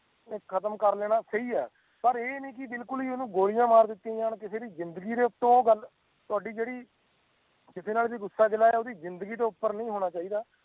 ਇਹ ਖਤਮ ਕਾਰ ਲੈਣਾ ਸਹੀ ਹੈ ਪਰ ਇਹ ਨਹੀਂ ਭੁਲਕੁਲ ਹੀ ਓਹਨੂੰ ਗੋਲੀਆਂ ਮਾਰ ਦਿੱਤੀਆਂ ਜਾਣ ਕਿਸੇ ਵੀ ਜ਼ਿੰਦਗੀ ਤੋਂ ਉਤੋਂ ਗੱਲ ਤੁਹਾਡੀ ਜੇੜੀ ਕਿਸੇ ਨਾਲ ਗੁਸਾ ਗਿੱਲ ਏਹ ਓਦੀ ਜ਼ਿੰਦਗੀ ਤੋਂ ਉੱਪਰ ਨਹੀ ਹੋਣਾ ਚਾਹੀਦਾ